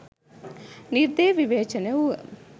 නිර්දය විවේචනය වුව